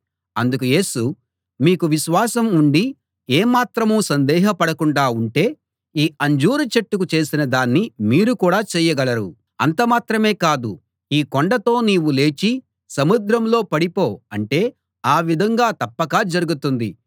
అందుకు యేసు మీకు విశ్వాసం ఉండి ఏమాత్రం సందేహపడకుండా ఉంటే ఈ అంజూరు చెట్టుకు చేసిన దాన్ని మీరు కూడా చేయగలరు అంత మాత్రమే కాదు ఈ కొండతో నీవు లేచి సముద్రంలో పడిపో అంటే ఆ విధంగా తప్పక జరుగుతుంది